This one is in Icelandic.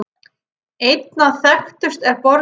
Einna þekktust er borgin